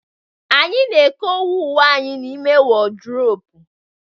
Anyị na-ekowe uwe anyị n'ime wọdropu